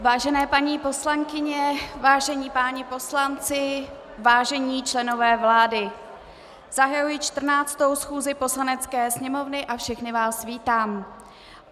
Vážené paní poslankyně, vážení páni poslanci, vážení členové vlády, zahajuji 14. schůzi Poslanecké sněmovny a všechny vás vítám.